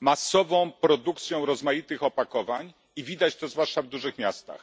masową produkcją rozmaitych opakowań i widać to zwłaszcza w dużych miastach.